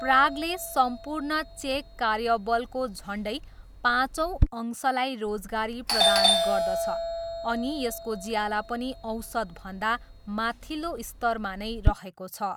प्रागले सम्पूर्ण चेक कार्यबलको झन्डै पाँचौँ अंशलाई रोजगारी प्रदान गर्दछ अनि यसको ज्याला पनि औसतभन्दा माथिल्लो स्तरमा नै रहेको छ।